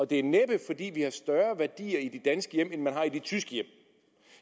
det er næppe fordi vi har større værdier i de danske hjem end man har i de tyske hjem